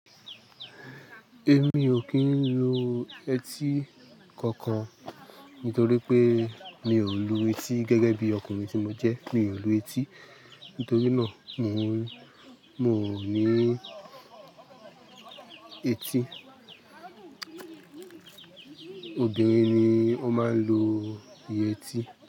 Èmi ò kí ń lo eti kankan nítorí pé mi ò lu etí gẹ́gẹ́ bí ọkùnrin tí mo jẹ́ mi ò lu etí. Nítorí náà mo, mo ní etí. Obìnrin ni ó máa ń lu iye etí.